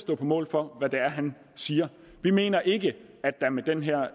stå på mål for hvad han siger vi mener ikke at der med den her